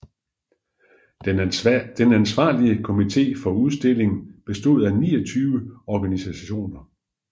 Den ansvarlige komite for udstillingen bestod af 29 organisationer